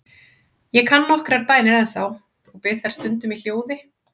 Ég kann nokkrar bænir ennþá og bið þær stundum í hljóði.